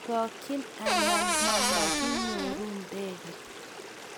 chokchin anan mumakinyoru ndege